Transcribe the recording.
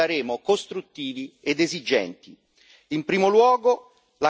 E come è sempre stato, noi saremo costruttivi ed esigenti.